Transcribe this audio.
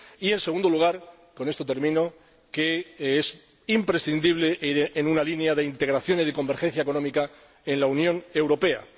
Y, en segundo lugar —con esto termino—, es imprescindible ir en una línea de integración y de convergencia económica en la Unión Europea.